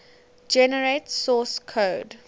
generate source code